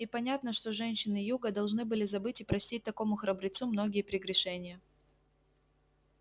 и понятно что женщины юга должны были забыть и простить такому храбрецу многие прегрешения